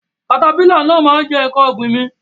katapila náà ma jẹ nkán ọ̀gbìn mi.